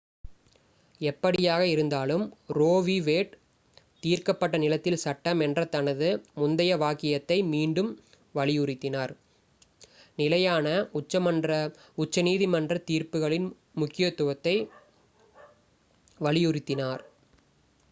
"எப்படியாக இருந்தாலும் Roe v. Wade "தீர்க்கப்பட்ட நிலத்தில் சட்டம்" என்ற தனது முந்தைய வாக்கியத்தை மீண்டும் வலியுறுத்தினார் நிலையான உச்சநீதிமன்றத் தீர்ப்புகளின் முக்கியத்துவத்தை வலியுறுத்தினார்.